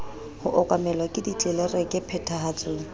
ho okamelwa ke ditlelereke phethahatsong